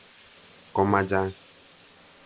Ko ma chang'.